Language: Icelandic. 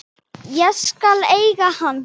Ég skal eiga hann.